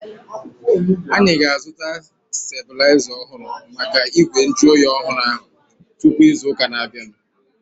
Anyị ga-azuta stebulaiza ọhụrụ maka igwe nju oyi ọhụrụ ahu tupu ịzụ ụka na-abianu